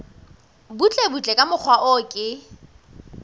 butlebutle ka mokgwa o ke